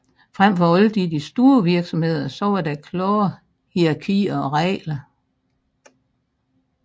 Frem for alt i de store virksomheder var der klare hierarkier og regler